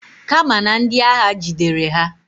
Kama na ndi agha jidere ha.